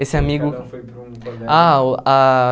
Esse amigo... Que cada um foi para um colégio. Ah uh ah